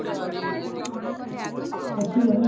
ଅଛି ଜଣେ